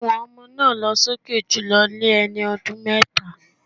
Ohùn ọmọ náà lọ́ sókè jùlọ ní ẹni ọdún méta.